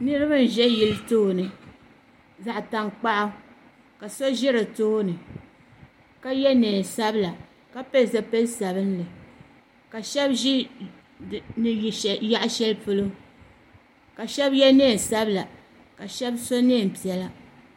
Niriba n ʒɛ yili tooni zaɣa tankpaɣu ka so ʒɛ di tooni ka ye niɛn'sabla ka pili zipil'sabinli ka sheba ʒi yaɣa sheli polo ka sheba ye niɛn'sabla ka sheba so niɛn'piɛla.